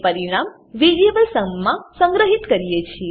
અને પરિણામ variable sum માં સંગ્રહીએ છીએ